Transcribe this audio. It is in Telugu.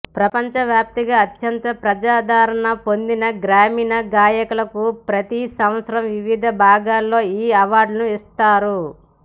ప్రపంచ వ్యాప్తంగా అత్యంత ప్రజాదరణ పొందిన గాయనీ గాయకులకు ప్రతి సంవత్సరం వివిధ విభాగాల్లో ఈ అవార్డులను ఇస్తారు